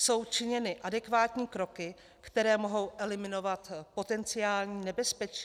Jsou činěny adekvátní kroky, které mohou eliminovat potenciální nebezpečí?